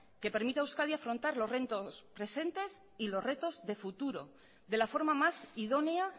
que permita a euskadi afrontar los retos presentes y los retos de futuro de la forma más idónea